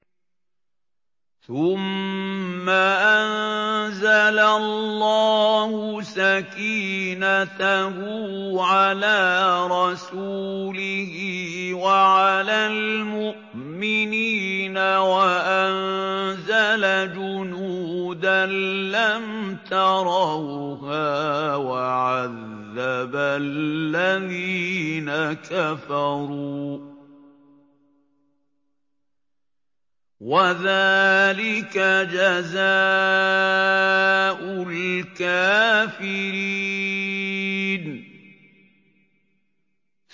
ثُمَّ أَنزَلَ اللَّهُ سَكِينَتَهُ عَلَىٰ رَسُولِهِ وَعَلَى الْمُؤْمِنِينَ وَأَنزَلَ جُنُودًا لَّمْ تَرَوْهَا وَعَذَّبَ الَّذِينَ كَفَرُوا ۚ وَذَٰلِكَ جَزَاءُ الْكَافِرِينَ